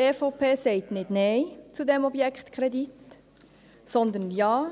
: Die EVP sagt nicht Nein zu diesem Objektkredit, sondern Ja,